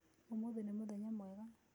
Ũmũthĩ nĩ mũthenya mwega.